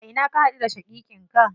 A ina ka haɗu da shaƙiƙin ka?